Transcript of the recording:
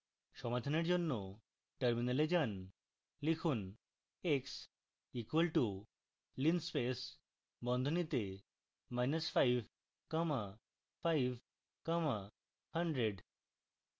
সমাধানের জন্য terminal যান